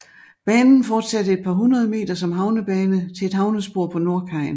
Banen fortsatte et par hundrede meter som havnebane til et havnespor på nordkajen